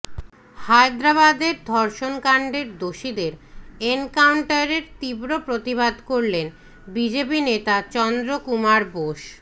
হায়দ্রাবাদের ধর্ষণকান্ডের দোষীদের এনকাউন্টারের তীব্র প্রতিবাদ করলেন বিজেপি নেতা চন্দ্র কুমার বোস